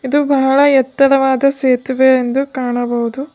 ಇದು ಬಹಳ ಎತ್ತರವಾದ ಸೇತುವೆ ಎಂದು ಕಾಣಬಹುದು.